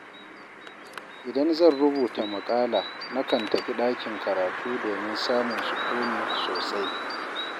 Idan zan rubuta maƙala, nakan tafi ɗakin karatu domin samun sukuni sosai.